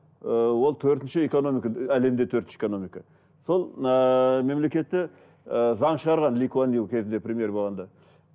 ыыы ол төртінші экономика әлемде төртінші экономика сол ыыы мемлекетте ы заң шығарған кезінде премьер болғанда